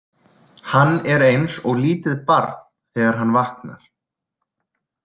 Hann er eins og lítið barn þegar hann vaknar.